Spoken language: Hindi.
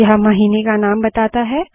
यह महीने का नाम बताता है